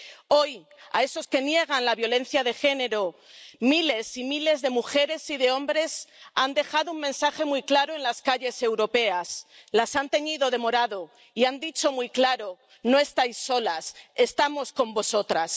Hoy, a esos que niegan la violencia de género, miles y miles de mujeres y de hombres les han dejado un mensaje muy claro en las calles europeas, las han teñido de morado y han dicho muy claro No estáis solas, estamos con vosotras.